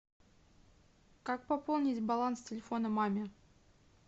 как пополнить баланс телефона маме